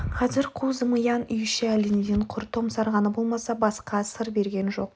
қазір қу зымиян үй іші әлденеден құр томсарғаны болмаса басқа сыр берген жоқ